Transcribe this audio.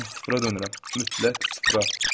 Mən sıfıra dönürəm, mütləq sıfıra.